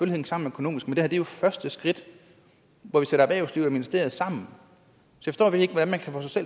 hænge sammen økonomisk men det her er jo første skridt hvor vi sætter erhvervslivet og ministeriet sammen